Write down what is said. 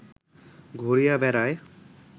ঘুরিয়া বেড়ায়